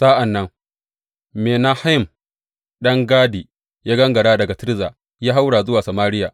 Sa’an nan Menahem ɗan Gadi ya gangara daga Tirza ya haura zuwa Samariya.